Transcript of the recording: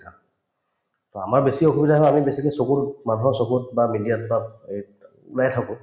বা আমাৰ বেছি অসুবিধা হয় আমি বেছিকে চকুতোত মানুহত চকুত বা media ত বা এইত ওলায়ে থাকো